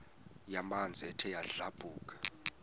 yamanzi ethe yadlabhuka